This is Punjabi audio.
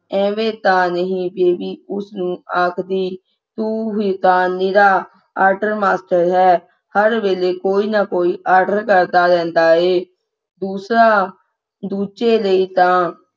ਐਵੇਂ ਤਾਂ ਉਸ ਨੂੰ ਨਹੀਂ ਆਖਦੀ ਤੂੰ ਹੀ ਤੇ ਨਿਰਾ order master ਹੈ ਹਰ ਵੇਲੇ ਕੋਈ ਨਾ ਕੋਈ order ਕਰਦਾ ਰਹਿੰਦਾ ਦੂਸਰਾ ਦੂਜੇ ਲਈ ਤਾਂ